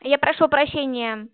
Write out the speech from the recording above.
я прошу прощения